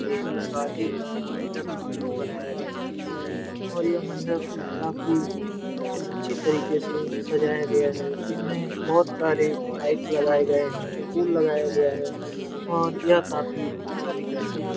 ये शादी का मंडप बनाया गया है और यह मंडप काफी अच्छी तरीके से सजाया गया है इसमें बहोत सारे लाइट्स लगाए गए हैं फूल लगाए गए हैं और यह काफी अच्छा दिख रहा है।